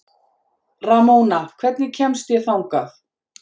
Ramóna, hvernig kemst ég þangað?